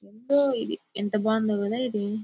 ఏదో ఇది ఎంత బాగుంది కదా ఇది.